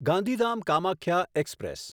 Gandhidham Kamakhya express